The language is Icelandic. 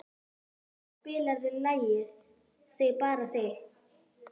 Vasilia, spilaðu lagið „Þig bara þig“.